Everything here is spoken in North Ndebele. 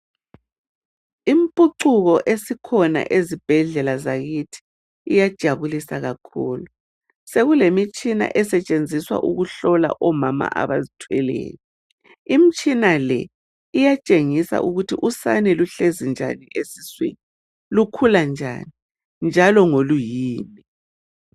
Impucuko esikhona ezibhedlela zakithi iyajabulisa kakhulu sekule mitshina esetshenziswa ukuhlola omama abazithweleyo imitshina le iyatshengisa ukuthi usane uhlezi njani esiswini lukhula njani njalo ngoluyini.